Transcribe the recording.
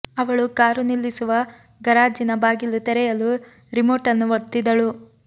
ಅವಳು ಕಾರು ನಿಲ್ಲಿಸುವ ಗರಾಜಿನ ಬಾಗಿಲು ತೆರೆಯಲು ರಿಮೋಟ್ ಅನ್ನು ಒತ್ತಿದಳು